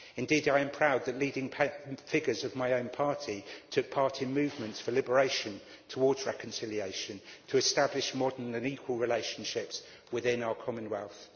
Indeed, I am proud that leading figures of my own party took part in movements for liberation, towards reconciliation, to establish modern and equal relationships within our Commonwealth.